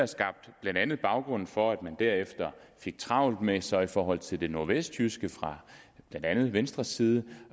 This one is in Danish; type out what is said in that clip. skabte baggrund for at man derefter fik travlt med så i forhold til det nordvestjyske fra blandt andet venstres side